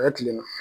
A ye tile na